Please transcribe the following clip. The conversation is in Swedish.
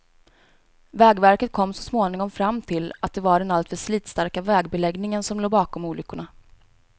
Vägverket kom så småningom fram till att det var den alltför slitstarka vägbeläggningen som låg bakom olyckorna.